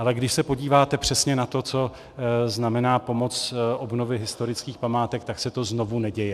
Ale když se podíváte přesně na to, co znamená pomoc obnově historických památek, tak se to znovu neděje.